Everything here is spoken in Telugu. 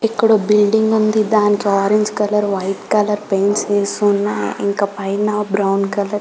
ఇక్కడ ఒక బిల్డింగ్ ఉంది దాంట్లో orange colour white colour paints వేస్తున్నారు ఇంకా పైన బ్రౌన్